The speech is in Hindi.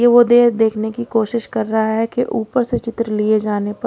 ये वो देखने की कोशिश कर रहा है कि ऊपर से चित्र लिए जाने पर--